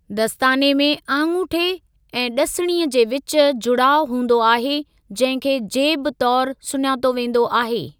दस्ताने में आङूठे ऐं ड॒सिणीअ जे विच जुड़ाउ हूंदो आहे, जंहिं खे 'जेब' तौरु सुञातो वेंदो आहे।